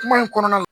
Kuma in kɔnɔna na